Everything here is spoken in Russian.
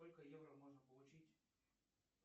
сколько евро можно получить